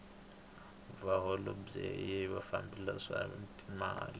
vaholobye i vafambisi va timali